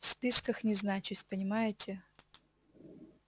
в списках не значусь понимаете